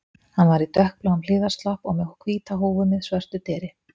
Hann var í dökkbláum hlífðarslopp og með hvíta húfu með svörtu deri